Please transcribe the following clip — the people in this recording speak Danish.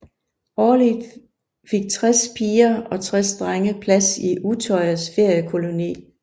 Årligt fik tres piger og tres drenge plads i Utøyas feriekoloni